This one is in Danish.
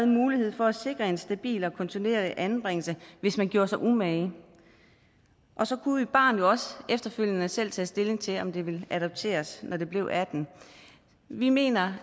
mulighed for at sikre en stabil og kontinuerlig anbringelse hvis man gjorde sig umage og så kunne et barn jo også efterfølgende selv tage stilling til om det ville adopteres når det blev atten år vi mener